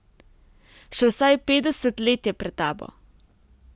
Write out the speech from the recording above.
Še vsaj petdeset let je pred tabo.